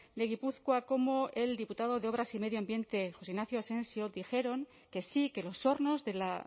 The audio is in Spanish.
de gipuzkoa como el diputado de obras y medio ambiente josé ignacio asensio dijeron que sí que los hornos de la